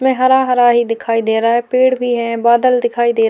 मैं हरा हरा ही दिखाई दे रहा है पेड़ भी है बादल दिखाई दे --